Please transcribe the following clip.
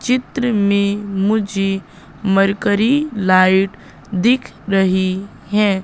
चित्र में मुझे मरकरी लाइट दिख रही है।